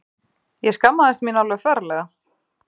Ég skammaðist mín alveg ferlega.